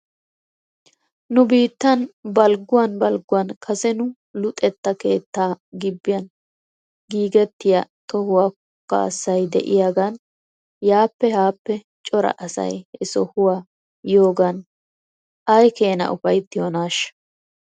Nu biittan balgguwan balgguwan kase nu luxxetta keettaa gibbiyan giigettiyaa tohuwaa kaassay de'iyaagan yaappe haappe cora asay he sohuwaa yiyoogan ay keenaa ufayttiyoonaashsha?